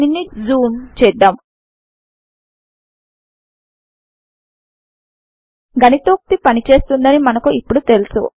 దీనిని జూమ్ చేద్దాం గణితోక్తి పనిచేస్తుందని మనకు ఇప్పుడు తెలుసు